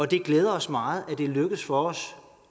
det glæder os meget at det er lykkedes for os